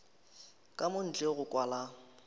ka mo ntle go kwala